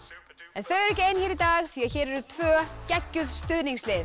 en þau eru ekki ein hér í dag því hér eru tvö geggjuð stuðningslið